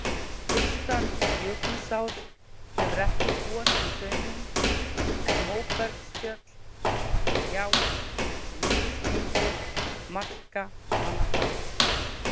Austan Jökulsár hefur ekki gosið hraunum, en móbergsfjöll, gjár og misgengi marka hana þar.